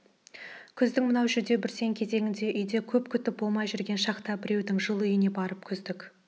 күздің мынау жүдеу бүрсең кезіңде үйде көп күтім болмай жүрген шақта біреудің жылы үйіне барып күздік